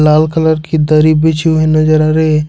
लाल colour की दरी बिछी हुई नजर आ रही है।